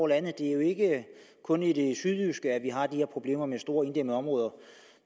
landet det er jo ikke kun i det sydjyske vi har de her problemer med store inddæmmede områder